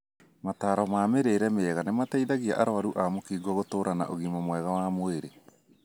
Motaro ma mĩrĩire mĩega nĩmateithagia arwaru a mũkingo gũtũra na ũgima mwega wa mwĩrĩ.